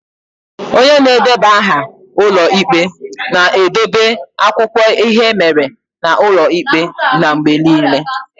Onye na-edeba aha ụlọ ikpe na-edobe akụkọ ihe mere n'ụlọ ikpe n'mgbe niile.